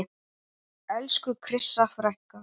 Elsku Krissa frænka.